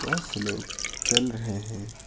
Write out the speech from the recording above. बहुत से लोग चल रहे हैं।